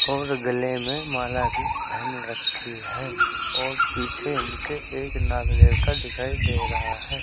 और गले में माला भी पहन रखी है और पीछे इनके एक नाग देवता दिखाई दे रहा है।